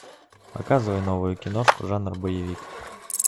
показывай новую киношку жанр боевик